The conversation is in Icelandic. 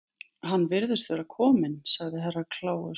Hann virðist vera kominn, sagði Herra Kláus.